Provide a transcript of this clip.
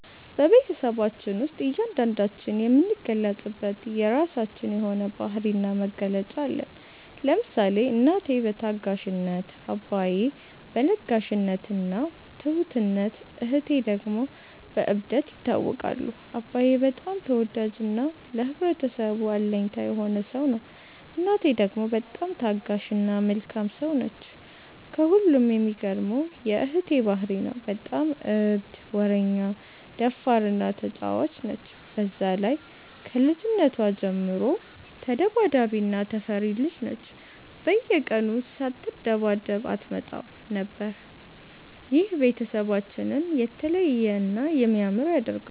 በቤትሰባችን ውስጥ እያንዳንዳችን የምንገለፅበት የራችን የሆነ ባህሪ እና መገለጫ አለን። ለምሳሌ እናቴ በታጋሽነት፣ አባዬ በ ለጋሽነት እና ትሁትነት እህቴ ደግሞ በ እብደት ይታወቃሉ። አባዬ በጣም ተወዳጅ እና ለህብረተሰቡ አለኝታ የሆነ ሰው ነው። እናቴ ደግሞ በጣም ታጋሽ እና መልካም ሰው ነች። ከሁሉም የሚገርመው የ እህቴ ባህሪ ነው። በጣም እብድ፣ ወረኛ፣ ደፋር እና ተጫዋች ነች። በዛ ላይ ከልጅነቷ ጀምሮ ተዳባዳቢ እና ተፈሪ ልጅ ነች፤ በየቀኑ ሳትደባደብ አትመጣም ነበር። ይህ ቤተሰባችንን የተለየ እና የሚያምር ያደርገዋል።